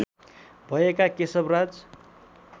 भएका केशव राज